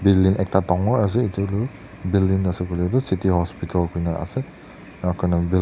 building ekta dangor ase edu tu building city hospital koina ase arokor.